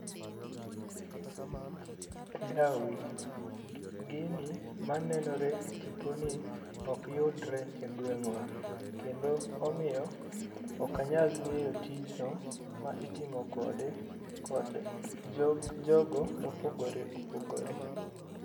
Da we gini ma nenore e tipo ni ok yudre e gweng wa kendo omiyo ok a nyal ngeyo tijno ma itiyo kode kod jogo ma opogore opogore